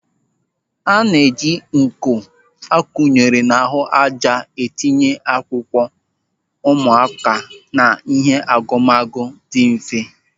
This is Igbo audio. A na-eji uko a kunyere n'ahụ ájá etinye akwụkwọ ụmụaka na ihe agumagu dị mfe.